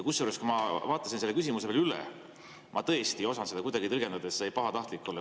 Kusjuures, kui ma vaatasin selle küsimuse veel üle, ma tõesti ei osanud seda kuidagi tõlgendada nii, et see oleks saanud pahatahtlik olla.